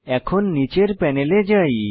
এখন নীচের প্যানেলে যাই